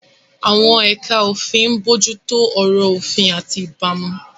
Àwọn ẹ̀ka òfin ń bójú tó ọ̀rọ̀ òfin àti ìbámu.